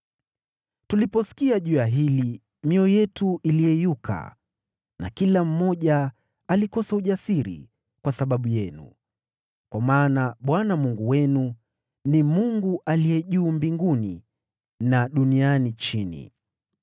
Tuliposikia juu ya hili, mioyo yetu iliyeyuka na kila mmoja alikosa ujasiri kwa sababu yenu, kwa maana Bwana Mungu wenu ni Mungu juu mbinguni na duniani chini.